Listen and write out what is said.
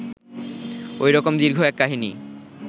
ঐ রকম দীর্ঘ এক কাহিনী